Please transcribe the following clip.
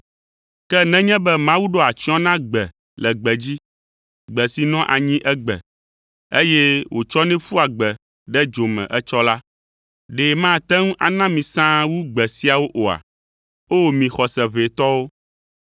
Ke nenye be Mawu ɖoa atsyɔ̃ na gbe le gbedzi, gbe si nɔa anyi egbe, eye wotsɔnɛ ƒua gbe ɖe dzo me etsɔ la, ɖe mate ŋu na mi sãa wu gbe siawo oa? O mi xɔse ʋɛ tɔwo?